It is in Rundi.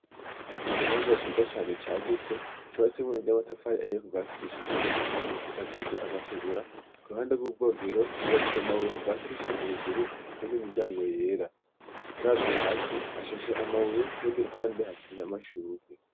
Ikibanza ciza cane cagutse coratse murinde y'amatafaye ahiye kuvasi kwishiga hejuru isakaje amategura ku ruhande rw'ubwogero yibakije amabuye kuvasi kwishiga hejuru ifise n'imiryango yera uravuze hasi hashashe amabuye kubundi ruhande hateye amashurugwe.